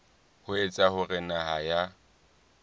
ho etsa hore naha ya